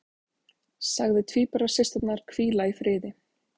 Sagði tvíburasysturnar hvíla í friði